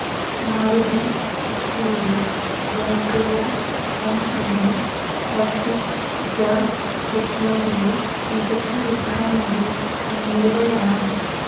മാരുതി സുസുക്കിയുടെ ജനപ്രിയ MPV Ertiga സെഗ്മെന്റില് മികച്ച വില്പ്പന നേടി മുന്നേറുകയാണ്